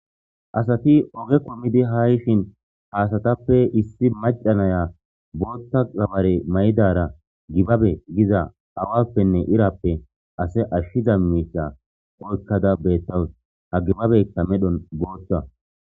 Asati oge kumidi haa yishshin ha asatappe issi mca naya botha gabbare mayidara gibbabe Giza awappenne izappe ase ashiza misila oyikada betawusi gibabeyikka medhdhoni botha